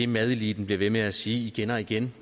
madeliten bliver ved med at sige igen og igen